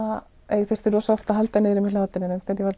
ég þurfti oft að halda niðri í mér hlátrinum þegar ég var